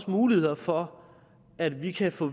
muligheder for at vi kan få